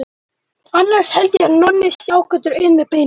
Annars held ég að Nonni sé ágætur inn við beinið.